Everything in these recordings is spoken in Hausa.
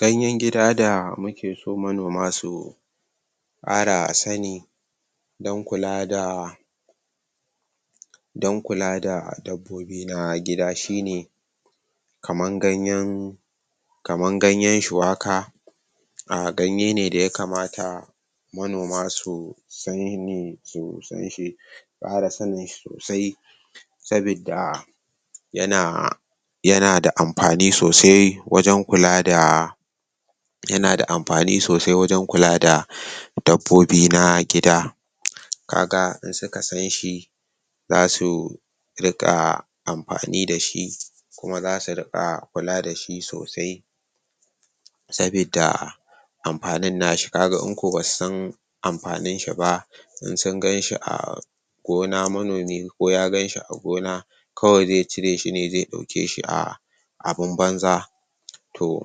gayen gida da muke so manoma su kara sani dan kula da dan kula da dabbobi na gida shine kaman gayen kaman gayen shuwaka ganye ne da yakamata manoma manoma su sanshi kara sanin shi sosai saboda yana da yana da amfani sosai wajen kula da yana da amfani sosai wajen kula da dabbobi na gida kaga in suka sanshi zasu ring amfani da shi kuma sau ringa kula da shi sosai saboda amfanin nashi kaga in ko basu san amfanin shi ba in sun ganshi a gona manomi ko ya ganshi a gona kawai zai cire shi ne zai dauke shi a abun banza toh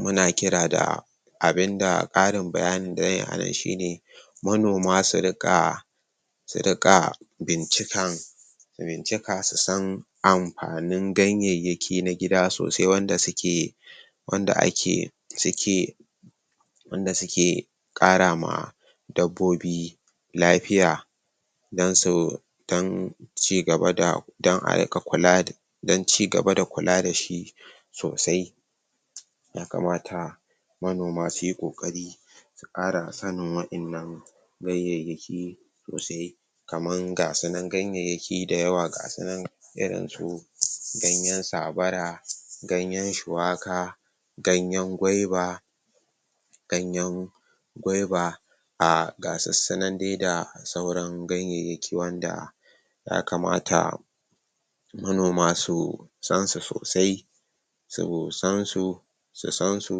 muna kira da abinda karin bayanin anan shine manoma su ringa su ringa bincikan su bincika su san amfanin gayyenyaki na gida sosai wanda suke wanda ake suke wanda suke karama dabbobi lafiya dansu dan su cigaba da dan a ringa kula dan cigaba da kula dashi sosai yakamata manoma suyi kokari su kara san waddanan bayyayyaki sosai kaman gayyenyaki dayawa ga su nan irin su gayyen sabara gayen shuwaka gayen gauva gayen gauva um ga su nan dai da sauran gayyenyaki wanda ya kamata manoma su san su soasi su san su su san su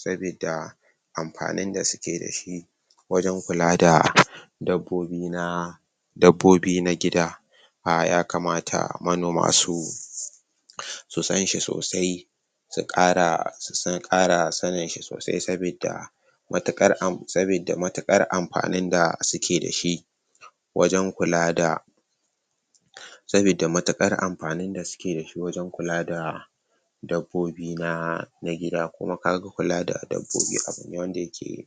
saboda amfanin da suke da shi wajen kula da dabbobi na dabbobi na yakamata manoma su su sanshi sosai su kara sanin shi sosai sabida sabida matuƙar amfanin da suke dashi wajen kula da sabuda matuƙar amfani da suke dashi wajen kula da dabbobi na na gida kuma kaga kula da dabbobi abune wanda